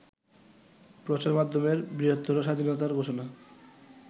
প্রচারমাধ্যমের বৃহত্তর স্বাধীনতার ঘোষণা